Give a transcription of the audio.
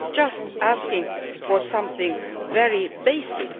It is just asking for something very basic.